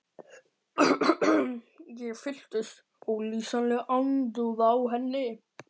Ég fylltist ólýsanlegri andúð á henni.